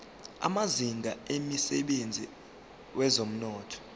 amazinga emsebenzini wezomnotho